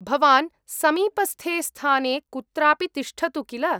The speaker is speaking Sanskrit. भवान् समीपस्थे स्थाने कुत्रापि तिष्ठतु किल?